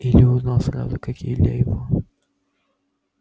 илью узнал сразу как и илья его